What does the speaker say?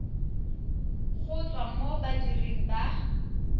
go tswa mo badiring ba